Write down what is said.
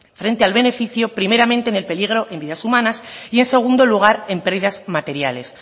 frente al beneficio primeramente en el peligro en vidas humanas y en segundo lugar en pérdidas materiales